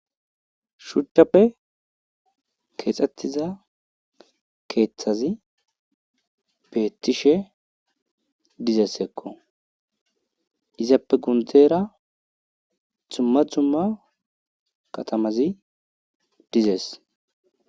Shuchchappe keexetida keeththay beetishe dizayssakko.izappe gundera dumma dumma katamazi dizees.